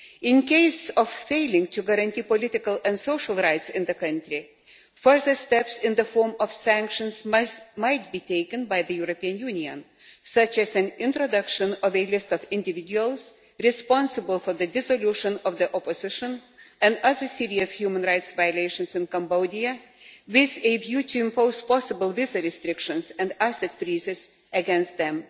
In the event of a failure to guarantee political and social rights in the country, further steps in the form of sanctions might be taken by the European Union, such as an introduction of a list of individuals responsible for the dissolution of the opposition and other serious human rights violations in Cambodia, with a view to imposing possible visa restrictions and asset freezes on them.